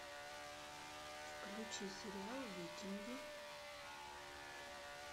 включи сериал викинги